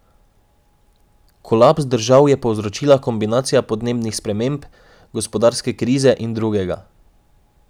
Kolaps držav je povzročila kombinacija podnebnih sprememb, gospodarske krize in drugega.